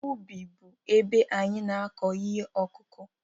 Ubi bụ ebe anyị na-akụ ihe ọkụkụ.